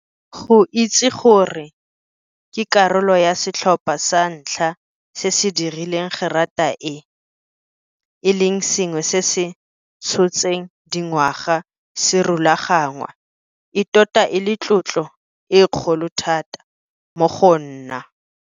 Go itse gore ke karolo ya setlhopha sa ntlha se se dirileng gerata e, e leng sengwe se se tshotseng dingwaga se rulaganngwa, e tota e le tlotlo e kgolo thata mo go nna.